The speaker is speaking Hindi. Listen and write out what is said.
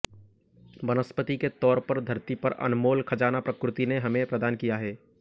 वनस्पति के तौर पर धरती पर अनमोल खजाना प्रकृति ने हमें प्रदान किया है